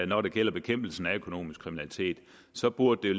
når det gælder bekæmpelsen af økonomisk kriminalitet så burde